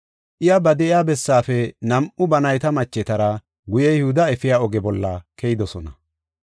Iya ba de7iya bessaafe nam7u ba nayta machetara guye Yihuda efiya oge bolla keyidosona.